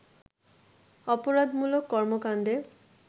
অপরাধমূলক কর্মকাণ্ডে